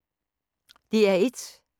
DR1